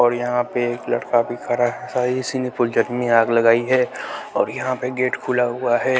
और यहां पे एक लड़का भी खड़ा है इसी ने फुल झड़ी में आग लगाई है और यहां पे गेट खुला हुआ है।